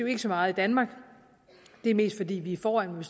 ikke så meget i danmark men det er mest fordi vi er foran men